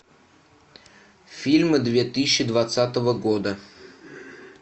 фильмы две тысячи двадцатого года